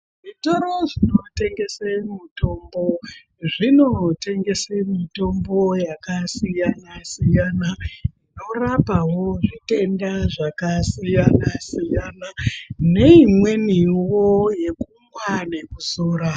Zvitoro zvinotengese mitombo zvinorengese mitombo yakasiyana siyana inorapawo zvitenda zvakasiyana siyana neimweniwo yekumwa nekuzora.